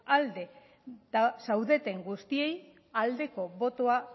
alde zaudeten guztiei aldeko botoa